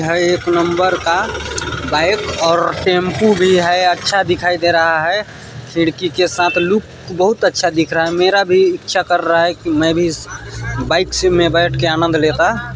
यहाँ एक नंबर का बाईक और टेंपू भी है अच्छा दिखाई दे रहा है खिड़की के साथ लुक बहुत अच्छा दिख रहा है मेरा भी इच्छा कर रहा है कि मैं भी इस बाईक से बैठ के आनंद लेता।